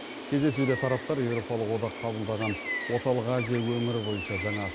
кездесуде тараптар еуропалық одақ қабылдаған орталық азия өңірі бойынша жаңа